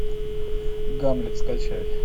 гамлет скачай